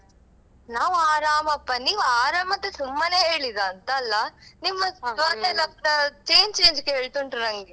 ನಾವು ಆರಾಮಪ್ಪ ನೀವ್ ಅರಾಮ್ ಅಂತ ಸುಮ್ಮನೆ ಹೇಳಿದ್ದಾ ಅಂತ ಅಲ್ಲಾ ನಿಮ್ಮದು ಮಾತೆಲ್ಲಾ ಕೂಡಾ change change ಕೇಳ್ತುಂಟು ನಂಗೆ.